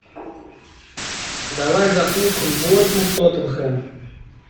давай запустим борнмут тоттенхэм